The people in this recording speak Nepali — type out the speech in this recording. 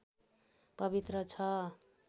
पवित्र छ